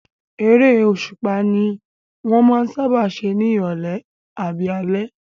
Eré òṣùpá ní wọ́n máa ń sáábà ṣe ní ìrọ̀lẹ́ àbí alẹ́